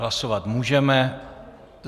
Hlasovat můžeme.